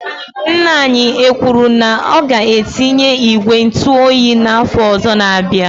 Ńnà anyị ekwuru na ọ ga etinye ìgwè ntụ oyi na afọ ọzọ na -abịa?